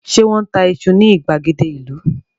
Ṣé wọ́n ń ta iṣu ní ìgbàgede ìlú?